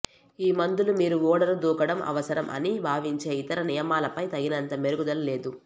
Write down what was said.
ఈ మందులు మీరు ఓడను దూకడం అవసరం అని భావించే ఇతర నియమాలపై తగినంత మెరుగుదల లేదు